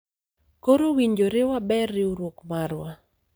koro owinjore waber riwruok marwa